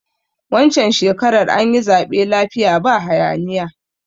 Wancan shekarar anyi zaɓe lafiya ba haya niya